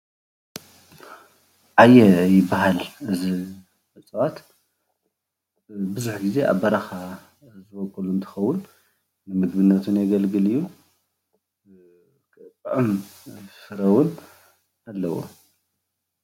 ዓየ ይበሃል እዚ እፅዋት ። ብዙሕ ጊዜ ኣብ በረኻ እውን ዝቦቁል እንትከውን። ንምግብነት እውን የገልግል እዩ ጥዑም ፍረ እውን ኣለዎ።